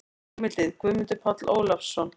Heimildir: Guðmundur Páll Ólafsson.